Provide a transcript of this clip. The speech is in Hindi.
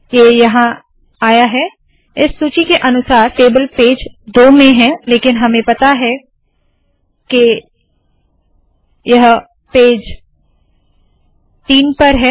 ये यहाँ आया है इस सूची के अनुसार टेबल पेज दो में है लेकिन हमें पता है के यह पेज तीन पर है